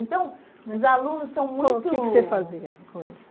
Então, os alunos são muito... Qual o que que você fazia com eles?